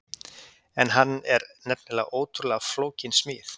En hann er nefnilega ótrúlega flókin smíð.